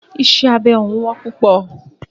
Iṣẹ́ abẹ òún wọ́n púpọ̀.